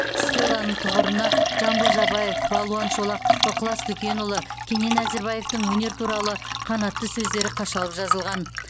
стелланың тұғырына жамбыл жабаев балуан шолақ ықылас дүкенұлы кенен әзірбаевтың өнер туралы қанатты сөздері қашалып жазылған